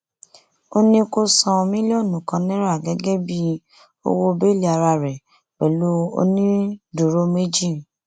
ó ní kó san mílíọnù kan náírà gẹgẹ bíi owó bẹẹlí ara rẹ pẹlú onídùúró méjì